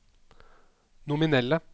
nominelle